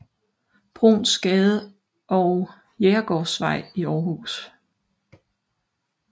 Bruuns Gade og Jægergaardsvej i Aarhus